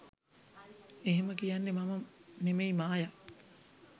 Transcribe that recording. එහෙම කියන්නෙ මම නෙමෙයි ‘මායා’.